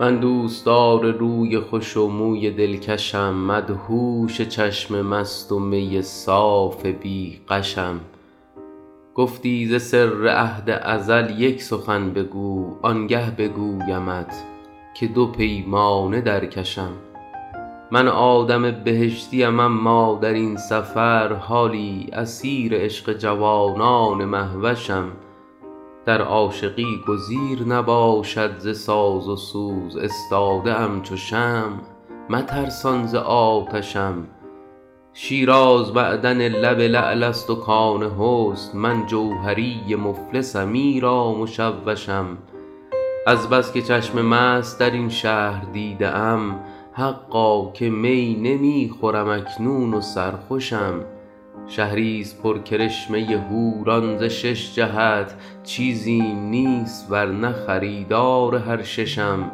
من دوستدار روی خوش و موی دلکشم مدهوش چشم مست و می صاف بی غشم گفتی ز سر عهد ازل یک سخن بگو آنگه بگویمت که دو پیمانه در کشم من آدم بهشتیم اما در این سفر حالی اسیر عشق جوانان مهوشم در عاشقی گزیر نباشد ز ساز و سوز استاده ام چو شمع مترسان ز آتشم شیراز معدن لب لعل است و کان حسن من جوهری مفلسم ایرا مشوشم از بس که چشم مست در این شهر دیده ام حقا که می نمی خورم اکنون و سرخوشم شهریست پر کرشمه حوران ز شش جهت چیزیم نیست ور نه خریدار هر ششم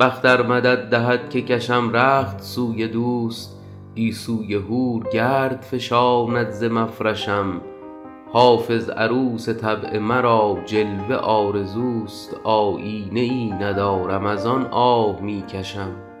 بخت ار مدد دهد که کشم رخت سوی دوست گیسوی حور گرد فشاند ز مفرشم حافظ عروس طبع مرا جلوه آرزوست آیینه ای ندارم از آن آه می کشم